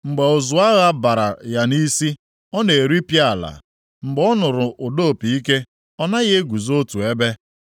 Mgbe ụzụ agha bara ya nʼisi, ọ na-eripịa ala. Mgbe ọ nụrụ ụda opi ike, ọ naghị eguzo otu ebe.